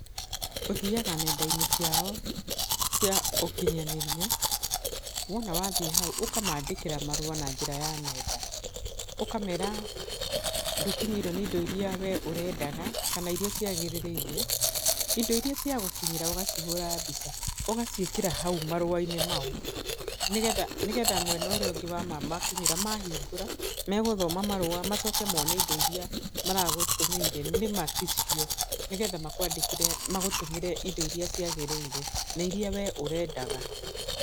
Ũthiaga nenda-inĩ ciao cia ũkinyanĩria, wona wathiĩ hau ũkamandĩkĩra marũa na njĩra ya nenda. Ũkamera ndũkinyĩirwo nĩ indo irĩa we ũrendaga, kana irĩa ciagĩrĩrĩire, indo irĩa ciagũkinyĩra ũgacihũra mbica. Ũgaciĩkĩra hau marũa-inĩ mau, nĩgetha nĩgetha mwena ũrĩa ũngĩ wa mamakinyĩra, mahingũra, megũthoma marũa macoke mone indo irĩa maragũtũmĩire, nĩma ti cio. Nĩgetha makwandĩkĩre, magũtũmĩre indo irĩa ciagĩrĩre, na irĩa we ũrendaga.